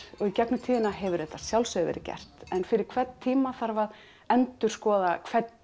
og í gegnum tíðina hefur þetta að sjálfsögðu verið gert en fyrir hvern tíma þarf að endurskoða